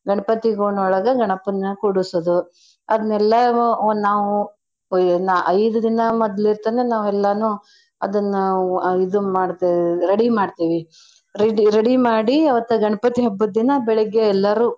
ಗಣ್ಪತಿ ಗೂಣ್ ಒಳಗ ಗಣಪನ್ನ ಕೂಡುಸೋದು ಅದ್ನೆಲ್ಲನೂ ನಾವು ನಾ~ ಐದ್ ದಿನಾ ಮದ್ಲಿರ್ತನ ನಾವೆಲ್ಲನು ಅದನ್ನ ಇದನ್ ಮಾಡ್ತೇವ್ ready ಮಾಡ್ತೇವಿ. Ready ready ಮಾಡಿ ಅವತ್ತ ಗಣ್ಪತಿ ಹಬ್ಬದ ದಿನಾ ಬೆಳಿಗ್ಗೆ ಎಲ್ಲರೂ.